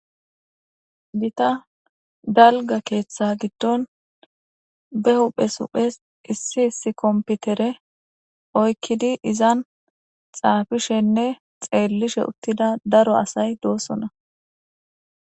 gita dalga keeththa giddon be huphes huphes issi issi kompitere oykkidi izan xaafishenne xeellishe uttida daro asay doosona